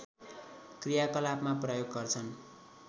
क्रियाकलापमा प्रयोग गर्छन्